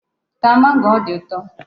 Taa mango, ọ dị ụtọ.